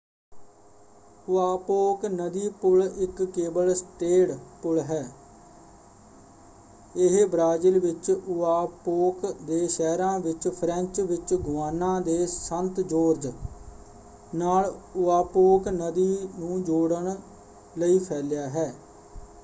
Oiapoque ਨਦੀ ਪੁਲ ਇੱਕ ਕੇਬਲ-ਸਟੇਅਡ ਪੁਲ ਹੈ। ਇਹ ਬ੍ਰਾਜ਼ੀਲ ਵਿੱਚ ਓਆਪੋਕ ਦੇ ਸ਼ਹਿਰਾਂ ਅਤੇ ਫ੍ਰੇਂਚ ਵਿੱਚ ਗੁਆਨਾ ਦੇ ਸੰਤ-ਜੋਰਜ ਨਾਲ ਓਆਪੋਕ ਨਦੀ ਨੂੰ ਜੋੜਨ ਲਈ ਫੈਲਿਆ ਹੈ।